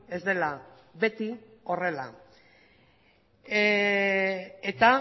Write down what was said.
ez dela beti horrela eta